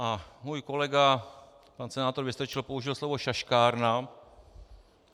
A můj kolega, pan senátor Vystrčil, použil slovo šaškárna.